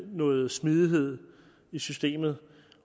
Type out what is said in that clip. noget smidighed i systemet